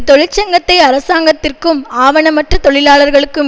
தொழிற்சங்கத்தை அரசாங்கத்திற்கும் ஆவணமற்ற தொழிலாளர்களுக்கும்